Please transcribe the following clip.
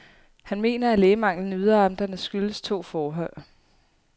Han mener, at lægemanglen i yderamterne skyldes to forhold.